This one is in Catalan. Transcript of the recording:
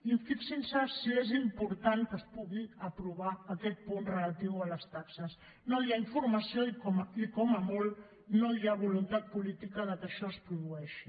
i fixin se si és important que es pugui aprovar aquest punt relatiu a les taxes no hi ha informació i com a molt no hi ha voluntat política que això es produeixi